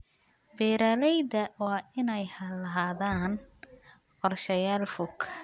Beeralayda waa inay lahaadaan qorshayaal fog.